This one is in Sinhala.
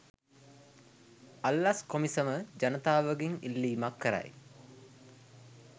අල්ලස් කොමිසම ජනතාවගෙන් ඉල්ලීමක් කරයි.